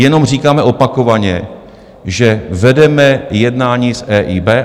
Jenom říkáme opakovaně, že vedeme jednání s EIB.